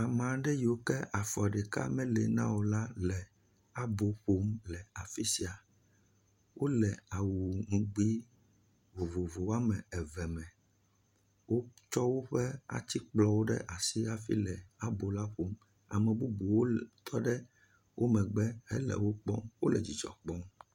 Amea ɖe yiwo ke afɔ ɖeka meli na o la, le abo ƒom le afi sia. Wole awu ŋugbee vovovo woame eve me. Wotsɔ woƒe atikplɔwo ɖe asi hafi le abo ƒom. Ame bubuwo tɔ wo megbe hele wo kpɔm wole dzidzɔ kpɔm.